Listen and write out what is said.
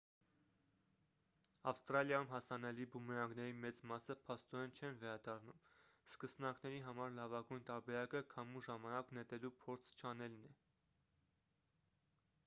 ավստրալիայում հասանելի բումերանգների մեծ մասը փաստորեն չեն վերադառնում սկսնակների համար լավագույն տարբերակը քամու ժամանակ նետելու փորձ չանելն է